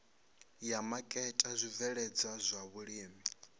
ya maketa zwibveledzwa zwa vhulimi